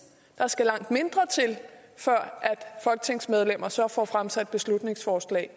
der skal langt mindre til før folketingsmedlemmer så får fremsat beslutningsforslag